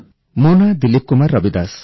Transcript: ମୋ ନାଁ ଦିଲିପ କୁମାର ରବିଦାସ